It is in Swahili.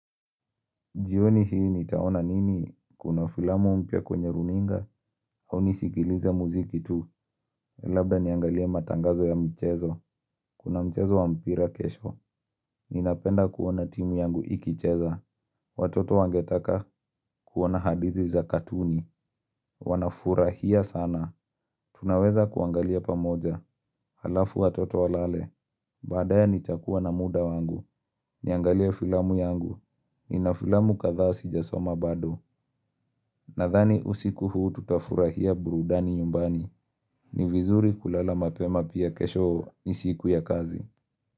Jioni hii nitaona nini kuna filamu mpya kwenye runinga au nisigilize muziki tu Labda niangalia matangazo ya mchezo Kuna mchezo wa mpira kesho Ninapenda kuona timu yangu ikicheza Watoto wangetaka kuona hadithi za katuni Wanafurahia sana Tunaweza kuangalia pamoja Halafu watoto walale Baadae nitakuwa na muda wangu Niangalie filamu yangu Nina filamu kadhaa sijasoma bado Nadhani usiku huu tutafurahia burudani yumbani ni vizuri kulala mapema pia kesho nisiku ya kazi.